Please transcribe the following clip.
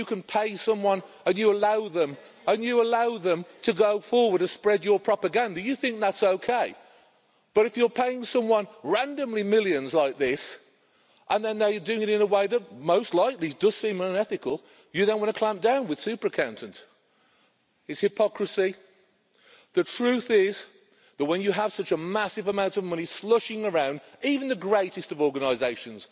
If you can pay someone and you allow them to go forward to spread your propaganda, you think that's okay. But if you're paying someone randomly millions like this and then they do things with it in a way that most likely does seem unethical, you then want to clamp down with super-accountant. It is hypocrisy. The truth is that when you have such a massive amount of money slushing around, even the greatest of organisations